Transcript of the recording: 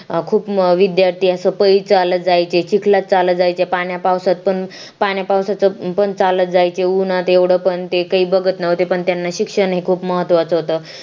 खूप विद्यार्थी असं पाई चालत जायचे चिखला चालत जायचे पाण्या पावसात पण पाण्या पावसाचा पण चालत जायचे उन्हात एवढं पण ते काही बघत नव्हते पण त्यांना शिक्षण हे खूप महत्त्वाचं होतं